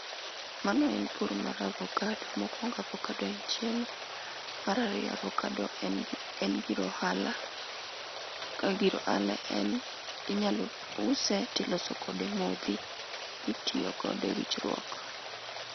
Mano en pur mar avokado. Mokuongo avokado en chiemo. Mar ariyo avokado en gir en gir ohala. Ka gir ohala en inyalo use to iloso kode modhi mitiyo godo e wichruok.